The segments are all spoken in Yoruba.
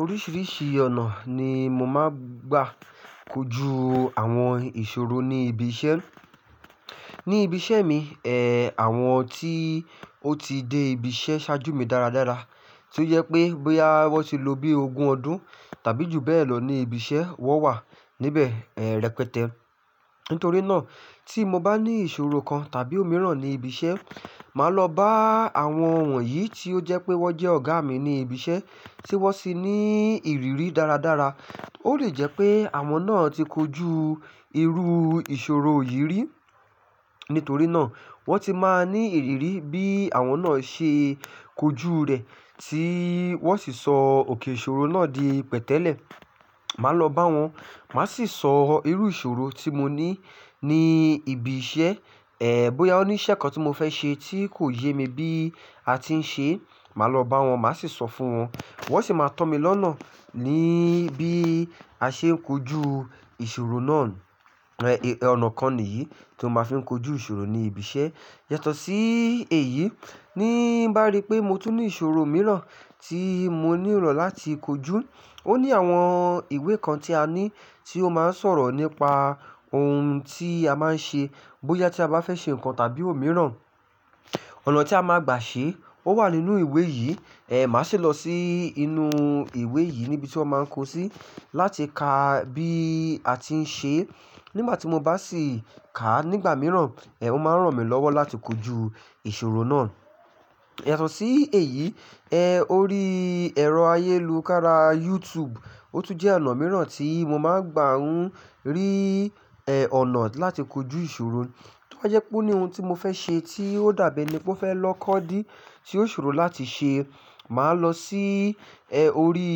Oríṣìíríṣìí ọ̀nà ni mo máa ń gbà kojú àwọn ìṣòro ní ibi iṣẹ́. Ní ibi iṣẹ́ mi, ẹ́ àwọn tí ó ti dé ibi iṣẹ́ ṣáájú mi dáradára, tí ó jẹ pé bóyá wọ́n ti lò bí ogún ọdún tàbí jù bẹ́ẹ̀ lọ ní ibi iṣẹ́, wọ́n wà níbẹ̀ rẹpẹtẹ. Nítorí náà tí mo bá ní ìṣòro kan tàbí òmíràn ní ibi iṣẹ́, màá lọ bá àwọn wọ̀nyí tí ó jẹ́ pé wọ́n jẹ́ ọ̀gá mi ní ibi iṣẹ́ tí wọ́n sì ní ìrírí dáradára. Ó lè jẹ́ pé àwọn náà ti kojú irú ìṣòro yìí rí, nítorí náà wọ́n ti máa ní ìrírí bí àwọn náà ṣe kojú rẹ̀ tí wọ́n sì sọ òkè ìṣòro náà di pẹ̀tẹ́lẹ̀. Màá lọ bá wọn, màá sì sọ irú ìṣòro tí mo ní ní ibi iṣẹ́, ẹ́ bóyá ó ní iṣẹ́ kan tí mo fẹ́ ṣe tí kò yé mi bí a ti ń ṣe, màá lọ bá wọn, màá sì sọ fún wọn. Wọ́n sì máa tọ́ mi lọ́nà níbí a ṣe ń kojú ìṣòro náà. Ẹ̀ ọnà kan nìyí tí mo máa ń fi kojú ìṣòro ní ibi iṣẹ́. Yàtọ̀ sí èyí, ní bá rí pé mo tún ní ìṣòro mìíràn tí mo nílò láti kojú, ó ní àwọn ìwé kan tí a ní tí ó máa ń sọ̀rọ̀ nípa ohun tí a máa ń ṣe. Bóyá tí a bá fẹ́ ṣe nǹkan tàbí òmíràn, ọ̀nà tí a máa gbà ṣe ó wà nínú ìwé yìí. Ẹ̀ màá sì lọ sí inú ìwé yìí níbi tí wọ́n máa ń kó sí láti ka bí a ti ń ṣe. Nígbà tí mo bá sì ká nígbà mìíràn, ẹ́ ó máa ń ràn mí lọ́wọ́ láti kojú ìṣòro náà. Yàtọ̀ sí èyí, ẹ́ orí ẹ̀rọ ayélukára YouTube ó tún jẹ́ ọ̀nà mìíràn tí mo máa ń gbà ún rí ẹ́ ọ̀nà láti kojú ìṣòro. Tí ó jẹ́ pé ó ní ohun tí mo fẹ́ ṣe tí ó dàbí ẹní pé ó fẹ́ lọ́kọ́ dí tí ó ṣòro láti ṣe, màá lọ sí ẹ́ orí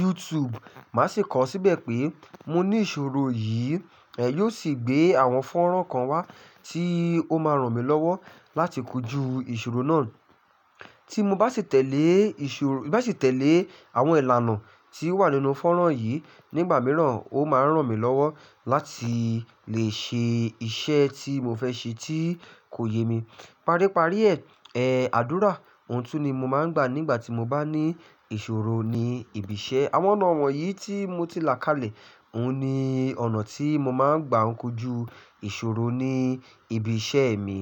YouTube, màá sì kọ̀ ọ́ síbẹ̀ pé mo ní ìṣòro yìí. Ẹ̀ yóò sì gbé àwọn fọ́nrán kan wá tí ó máa ràn mí lọ́wọ́ láti kojú ìṣòro náà. Tí mo bá sì tẹ̀lé ìṣòro, bá sì tẹ̀lé àwọn ìlànà tí ó wà nínú fọ́nrán yìí nígbà mìíràn ó máa ń ràn mí lọ́wọ́ láti lè ṣe iṣẹ́ tí mo fẹ́ ṣe tí kò yé mi. Paríparí ẹ̀ ẹ́ àdúrà ohun tún ni mo máa ń gbà nígbà tí mo bá ní ìṣòro ní ibi iṣẹ́. Àwọn ọ̀nà wọ̀nyí tí mo ti làkálẹ̀ òun ni ọ̀nà tí mo máa ń gbà n kojú ìṣòro ní ibi iṣẹ́ mi.